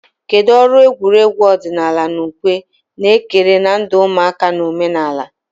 Kedu ọrụ egwuregwu ọdịnala na ukwe na-ekere na ndụ ụmụaka na omenala?